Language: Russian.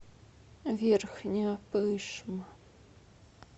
верхняя пышма